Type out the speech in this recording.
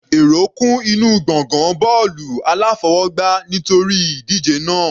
Èrò kún inú gbọ̀ngàn bọ́ọ̀lù aláfọwọgbá nítorí ìdíje náà.